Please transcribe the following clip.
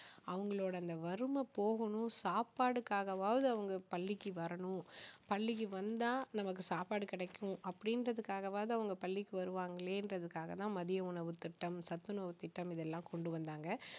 அவங்களோட அந்த வறுமை போகணும் சாப்பாடுக்காகவாவது அவங்க பள்ளிக்கு வரணும் பள்ளிக்கு வந்தா நமக்கு சாப்பாடு கிடைக்கும் அப்படிங்கறதுக்காகவாது அவங்க பள்ளிக்கு வருவாங்களேங்கறதுக்காக தான் மதிய உணவு திட்டம் சத்துணவு திட்டம் இதை எல்லாம் கொண்டு வந்தாங்க